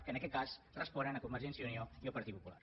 que en aquest cas responen a convergència i unió i al partit popular